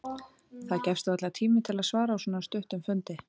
Það gefst varla tími til að svara á svona stuttum fundi.